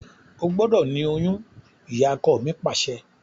O gbọ́dọ̀ ni oyún! Ìyakọ mi Pàṣẹ.